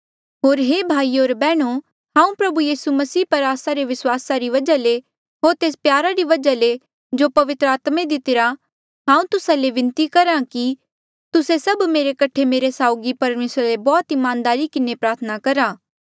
होर हे भाईयो होर बैहणो हांऊँ प्रभु यीसू मसीह पर आस्सा रे विस्वासा री वजहा ले होर तेस प्यारा री वजहा ले जो पवित्र आत्मे दितिरी हांऊँ तुस्सा ले बिनती करहा कि तुस्से सभ मेरे कठे मेरे साउगी परमेसरा ले बौह्त ईमानदारी किन्हें प्रार्थना करहा